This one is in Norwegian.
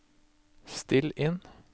still inn